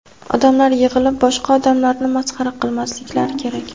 Odamlar yig‘ilib boshqa odamlarni masxara qilmasliklari kerak.